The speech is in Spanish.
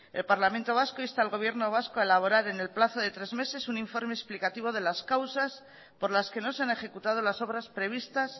el parlamento vasco insta al gobierno vasco a elaborar en el plazo de tres meses un informe explicativo de las causas por las que no se han ejecutado las obras previstas